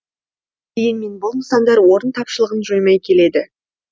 дегенмен бұл нысандар орын тапшылығын жоймай келеді